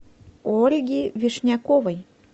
ольги вишняковой